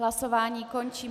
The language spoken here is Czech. Hlasování končím.